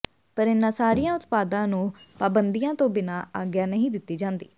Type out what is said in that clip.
ਪਰ ਇਨ੍ਹਾਂ ਸਾਰੀਆਂ ਉਤਪਾਦਾਂ ਨੂੰ ਪਾਬੰਦੀਆਂ ਤੋਂ ਬਿਨਾਂ ਆਗਿਆ ਨਹੀਂ ਦਿੱਤੀ ਜਾਂਦੀ